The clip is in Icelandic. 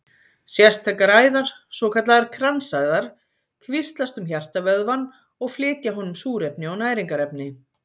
Sérstakar æðar, svokallaðar kransæðar, kvíslast um hjartavöðvann og flytja honum súrefni og næringarefni.